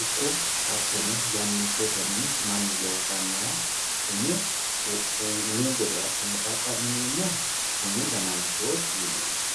ikko hattono yanniteteni mannu loossanoha umu gede assine xaqa'mineemmoha umu dananchoti yineemmo .